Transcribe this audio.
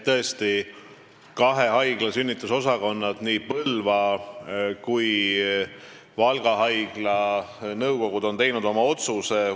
Tõesti, sünnitusosakonna kohta on kahe haigla, nii Põlva kui ka Valga haigla nõukogu oma otsuse teinud.